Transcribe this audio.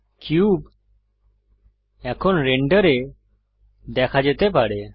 cube এখন রেন্ডারে দেখা যেতে পারে